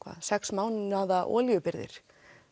sex mánaða olíubirgðir